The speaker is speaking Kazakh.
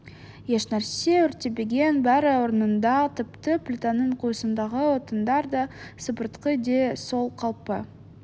ешнәрсе өртенбеген бәрі орнында тіпті плитаның қуысындағы отындар да сібірткі де сол қалпы